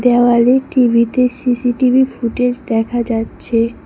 দেওয়ালে টিভিতে CCTV footage দেখা যাচ্ছে।